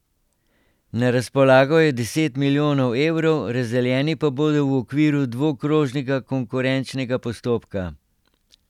Na razpolago je deset milijonov evrov, razdeljeni pa bodo v okviru dvokrožnega konkurenčnega postopka.